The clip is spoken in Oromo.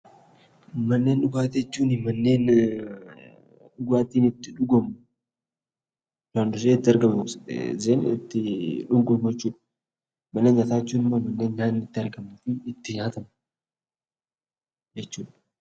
Manneen dhugaatii jechuun manneen dhugaatiin itti dhugamu kan yeroo hunda itti dhugamu. Mana nyaata jechuun immoo mana yeroo hunda nyaanni itti argamu , itti nyaatamu jechuudha.